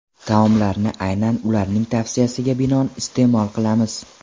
Taomlarni aynan ularning tavsiyasiga binoan iste’mol qilamiz.